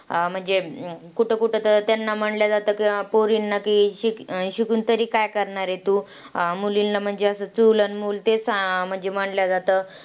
अं म्हणजे, कुठं कुठं तं त्यांना म्हणल्या जातं, पोरींना की शि अं शिकून तरी काय करणारंय तू? अं मुलींना म्हणजे असं चूल आणि मुल चेत अं म्हणजे म्हणलं जातं.